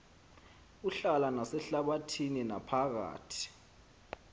uhlala nasehlabathini naphakathi